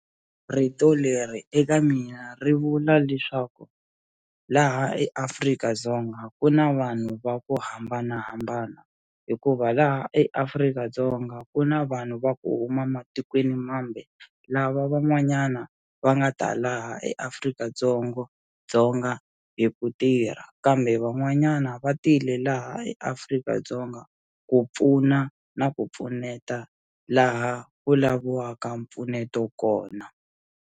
Rito leri eka mina ri vula leswaku laha eAfrika-Dzonga ku na vanhu va ku hambanahambana hikuva laha eAfrika-Dzonga ku na vanhu va ku huma matikweni mambe lava van'wanyana va nga ta laha eAfrika-Dzongo Dzonga hi ku tirha kambe van'wanyana va tile laha eAfrika-Dzonga ku pfuna na ku pfuneta laha vulavuriwaka mpfuneto kona.